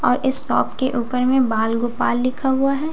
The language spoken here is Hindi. और इस शॉप के ऊपर में बाल गोपाल लिखा हुआ हैं --